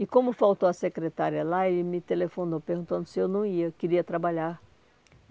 E como faltou a secretária lá, ele me telefonou perguntando se eu não ia, queria trabalhar.